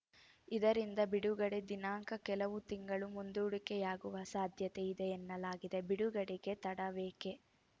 ಇದರಿಂದ ಬಿಡುಗಡೆ ದಿನಾಂಕ ಕೆಲವು ತಿಂಗಳು ಮುಂದೂಡಿಕೆಯಾಗುವ ಸಾಧ್ಯತೆ ಇದೆ ಎನ್ನಲಾಗಿದೆ ಬಿಡುಗಡೆಗೆ ತಡವೇಕೆ